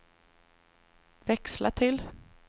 växla till